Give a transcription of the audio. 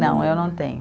Não, eu não tenho.